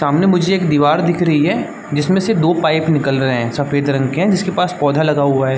सामने मुझे एक दीवार दिख रही है जिसमें से दो पाइप निकल रहे हैं सफेद रंग के जिसके पास पौधा लगा हुआ हैं।